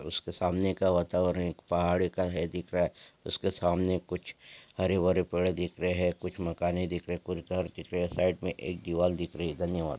उसके सामने का वातावरण एक पहाडी का है दिख रहा है उसके सामने कुछ हरे-भरे पेड़ दिख रहे है कुछ मकाने दिख रहे है कुछ घर दिख रहे है साइड मे एक दीवाल दिख रही है धन्यवाद।